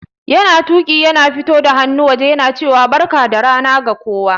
Yana Tuƙi yana fito da hannu wajen yana cewa Barka da rana ga kowa.